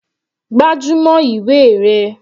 Gbájúmọ́ ìwé rẹ.